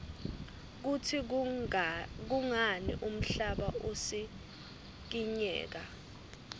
kutsi kungani umhlaba usikinyeka